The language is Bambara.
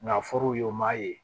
Nka fɔr'u ye u m'a ye